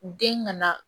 Den ka na